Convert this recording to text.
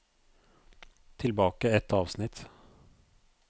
Tilbake ett avsnitt